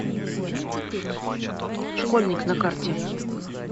школьник на карте